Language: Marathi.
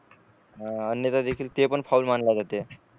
अ अन्यथा देखील ते पण फाऊल मानला जाते